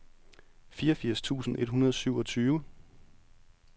fireogfirs tusind et hundrede og syvogtyve